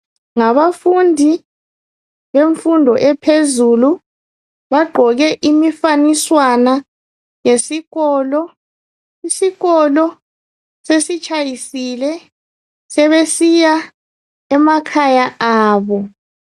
Ngabafundi bemfundo ephezulu bagqoke imifaniswana yesikolo isikolo sesitshayisile sebesiya emakhaya abo.